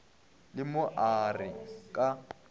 le mo a re ka